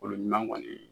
Olu ɲuman kɔni